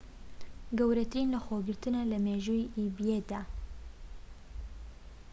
گەورەترین لەخۆگرتنە لە مێژووی ئیبەیدا